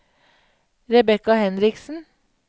Rebecca Henriksen